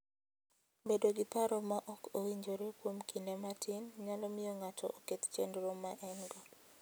Bedo gi paro ma ok owinjore kuom kinde matin, nyalo miyo ng'ato oketh chenro ma en-go.